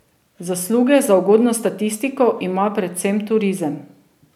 Zasluge za ugodno statistiko ima predvsem turizem.